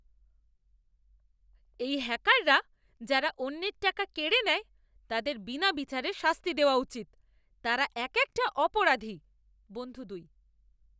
এই হ্যাকাররা যারা অন্যের টাকা কেড়ে নেয় তাদের বিনা বিচারে শাস্তি দেওয়া উচিত। তারা এক একটা অপরাধী। বন্ধু দুই